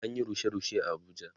An Yi rushe rushe a Abuja